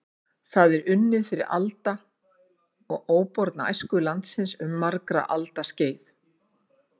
Það er unnið fyrir alda og óborna æsku landsins um margra alda skeið.